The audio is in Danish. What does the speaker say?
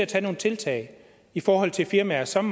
tage nogle tiltag i forhold til firmaer som